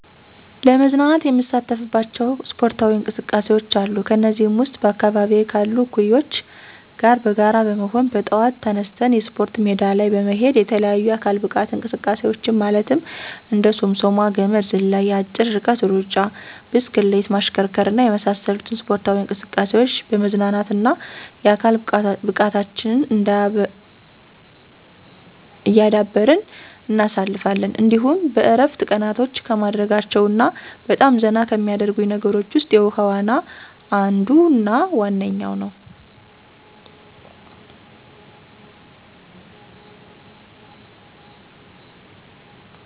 ለመዝናናት የምሳተፍባቸው ስፖርታዊ እንቅስቃሴዎች አሉ። ከነዚህም ውስጥ በአካባቢየ ካሉ እኩዮቸ ጋር በጋራ በመሆን በጠዋት ተነስተን የስፖርት ሜዳ ላይ በመሄድ የተለያዩ የአካል ብቃት እንቅስቃሴዎችን ማለትም እንደ ሶምሶማ፣ ገመድ ዝላይ፣ የአጭር ርቀት ሩጫ፣ ብስክሌት ማሽከርከር እና የመሳሰሉትን ስፖርታዊ እንቅስቃሴዎች በመዝናናትና የአካል ብቃታችንን እያዳበርን እናሳልፋለን። እንዲሁም በእረፍት ቀናቶቸ ከማደርጋቸው እና በጣም ዘና ከሚያደርጉኝ ነገሮች ውስጥ የውሀ ዋና አንዱና ዋነኛው ነዉ።